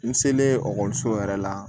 N selen ekɔliso yɛrɛ la